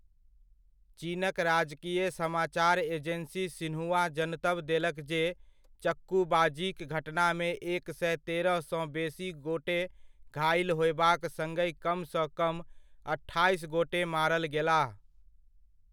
चीनक राजकीय समाचार एजेन्सी सिन्हुआ जनतब देलक जे चक्कूबाजीक घटनामे एक सए तेरह सँ बेसी गोटे घाइल होयबाक सङहि कमसँ कम अठाइस गोटे मारल गेलाह।